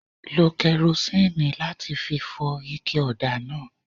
Lo kẹrosínìì láti fi fọ ike ọ̀dà náà.